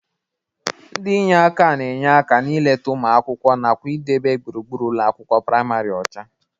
Ndị inye aka na-enye aka na-ileta ụmụ akwụkwọ nakwa na-idebe gbụrugbụru ụlọ akwụkwọ prịmarị ọcha.